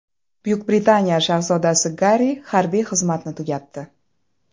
Buyuk Britaniya shahzodasi Garri harbiy xizmatni tugatdi.